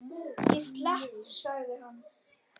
Ég slapp sagði hann.